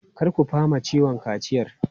Kar ku fama ciwon kaciyar!